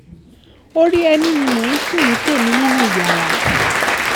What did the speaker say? orí ẹni ni mò ń sùn ní tèmi nínú yàrá